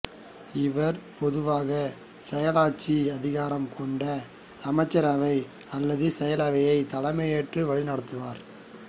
இவர் பொதுவாக செயலாட்சி அதிகாரம் கொண்ட அமைச்சரவை அல்லது செயலரவையைத் தலைமையேற்று வழிநடத்துவார்